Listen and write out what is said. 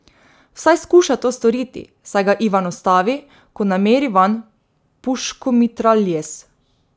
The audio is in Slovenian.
Vsaj skuša to storiti, saj ga Ivan ustavi, ko nameri vanj puškomitraljez.